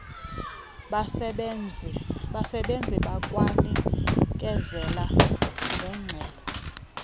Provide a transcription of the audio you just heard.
basebenzi bakwanikezela nengxelo